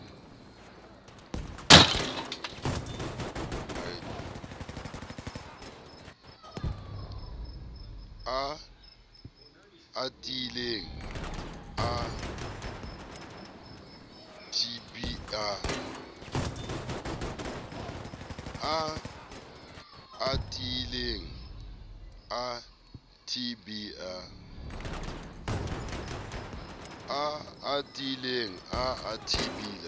a atileng a tb a